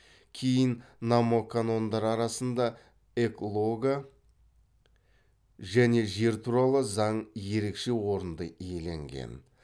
кейін номоканондар арасында эклога және жер туралы заң ерекше орынды иеленген